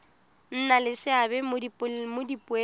nna le seabe mo dipoelong